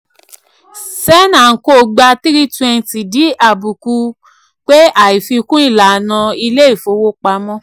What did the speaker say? sen and co gba three twenty di àbùkù pé àìfikún ìlànà ilé ìfowopamọ́.